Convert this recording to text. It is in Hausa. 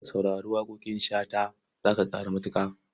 Ka saurari waƙoƙin Shata za ka ƙaru matuƙa.